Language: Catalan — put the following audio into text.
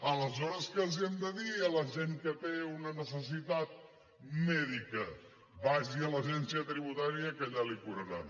aleshores què els hem de dir a la gent que té una necessitat mèdica vagi a l’agència tributària que allà li ho curaran